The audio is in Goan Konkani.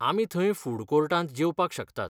आमी थंय फूड कोर्टांत जेवपाक शकतात.